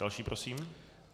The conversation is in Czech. Další prosím.